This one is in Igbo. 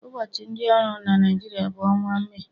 Ụbọchị ndị ọrụ na Naịjirịa bụ ọnwa Mee